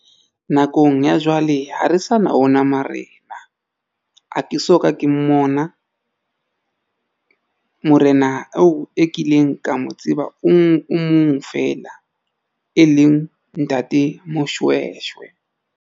Nakong ya jwale ha re sa na ona marena ha ke soka ke mmona morena eo e kileng ka mo tseba o mong fela e leng Ntate Moshweshwe.